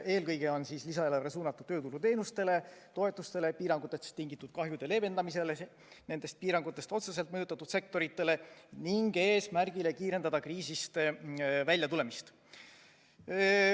Eelkõige on lisaeelarve suunatud tööturuteenustele, toetustele, piirangutest tingitud kahjude leevendamisele nendest piirangutest otseselt mõjutatud sektorites ning eesmärgile kiirendada kriisist väljatulemist.